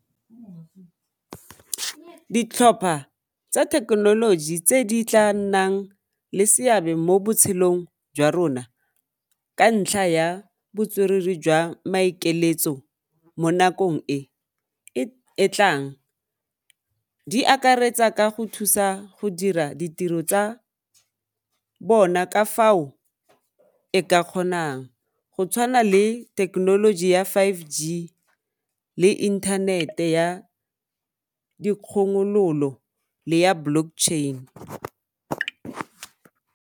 Ditlhopha tsa thekenoloji tse di tla nnang le seabe mo botshelong jwa rona ka ntlha ya botswerere jwa maikeletso mo nakong e e tlang di akaretsa ka go thusa go dira ditiro tsa bona ka fao e ka kgonang go tshwana le thekenoloji ya five G le inthanete ya dikgomololo le ya Blockchain.